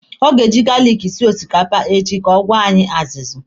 Ọ ga-eji garlic esi osikapa echi ka ọ gwọọ anyị azụzụ.